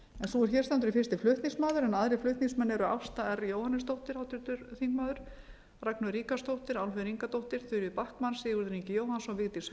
sú er hér stendur er fyrsti flutningsmaður en aðrir flutningsmenn eru háttvirtir þingmenn ásta r jóhannesdóttir ragnheiður ríkharðsdóttir álfheiður ingadóttir þuríður backman sigurður ingi jóhannsson vigdís